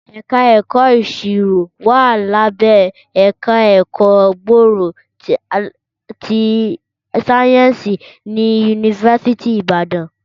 Ẹ̀ka ẹ̀kọ́ ìṣirò wà lábẹ́ ẹ̀ka ẹ̀kọ́ gbòòrò ti sáyẹ́ǹsì ní yunifásítì Ìbàdàn